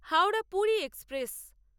Howrah Puri express